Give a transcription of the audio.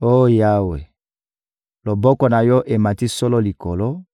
Oh Yawe, loboko na Yo emati solo likolo,